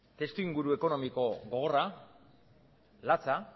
testuinguru ekonomiko gogorra latza